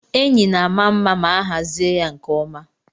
Enyi na-ama mma ma a hazie ya nke ọma.